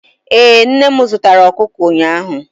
ee, nne m zụtara okụkụ ụnyaahụ